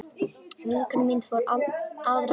Vinkona mín fór aðra leið.